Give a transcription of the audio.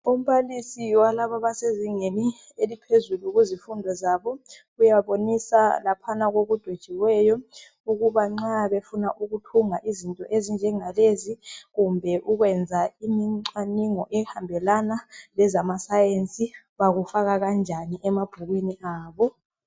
Umbalaisi walaba abasezingeni eliphezulu kuzifundo zabo, uyabonisa laphana kokudwetshiweyo ukuba nxa befuna ukuthunga izinto ezinjengalezi, kumbe ukwenza imicwaningo ehambelana lezama science bakufaka kanjani emabhukwini abo.